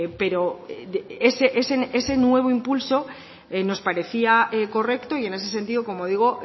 pero ese nuevo impulso nos parecía correcto y en ese sentido como digo